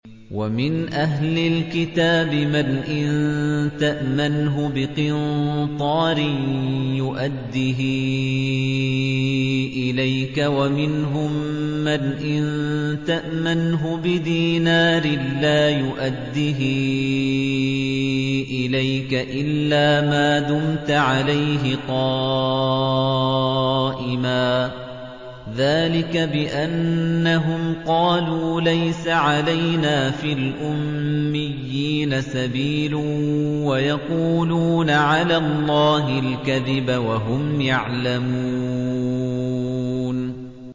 ۞ وَمِنْ أَهْلِ الْكِتَابِ مَنْ إِن تَأْمَنْهُ بِقِنطَارٍ يُؤَدِّهِ إِلَيْكَ وَمِنْهُم مَّنْ إِن تَأْمَنْهُ بِدِينَارٍ لَّا يُؤَدِّهِ إِلَيْكَ إِلَّا مَا دُمْتَ عَلَيْهِ قَائِمًا ۗ ذَٰلِكَ بِأَنَّهُمْ قَالُوا لَيْسَ عَلَيْنَا فِي الْأُمِّيِّينَ سَبِيلٌ وَيَقُولُونَ عَلَى اللَّهِ الْكَذِبَ وَهُمْ يَعْلَمُونَ